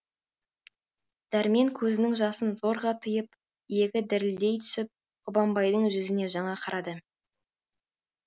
дәрмен көзінің жасын зорға тыйып иегі дірілдей түсіп қабанбайдың жүзіне жаңа қарады